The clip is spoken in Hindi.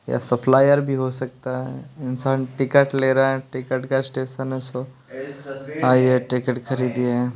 या सप्लायर भी हो सकता हैं इंसान टिकट ले रहा हैं टिकट का स्टेशन हैंसो आइए टिकट खरीदिए --